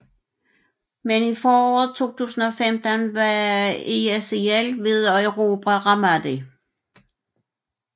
Men i foråret 2015 var ISIL ved at erobre Ramadi